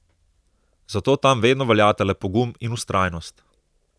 Zato tam vedno veljata le pogum in vztrajnost.